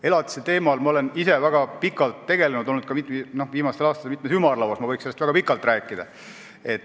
Elatise teemadega ma olen ise väga pikalt tegelenud ja olnud ka viimastel aastatel mitmes ümarlauas, nii et võiksin sellest väga pikalt rääkida.